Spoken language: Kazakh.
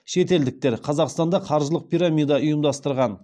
шетелдіктер қазақстанда қаржылық пирамида ұйымдастырған